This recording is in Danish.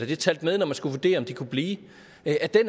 det talt med når man skulle vurdere om de kunne blive